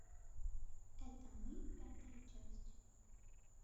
это мы пятая часть